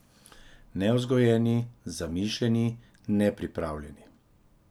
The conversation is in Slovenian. Nevzgojeni, zamišljeni, nepripravljeni.